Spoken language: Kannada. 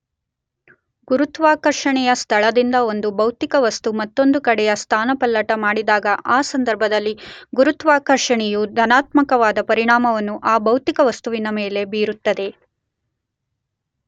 ಗುರುತ್ವಾಕರ್ಷಣೆಯ ಸ್ಥಳದಿಂದ ಒಂದು ಭೌತಿಕ ವಸ್ತು ಮತ್ತೊಂದು ಕಡೆಗೆ ಸ್ಥಾನ ಪಲ್ಲಟ ಮಾಡಿದಾಗ ಆ ಸಂದರ್ಭದಲ್ಲಿ ಗುರುತ್ವಾಕರ್ಷಣೆಯು ಧನಾತ್ಮಕವಾದ ಪರಿಣಾಮವನ್ನು ಆ ಭೌತಿಕ ವಸ್ತುವಿನ ಮೇಲೆ ಬೀರುತ್ತದೆ.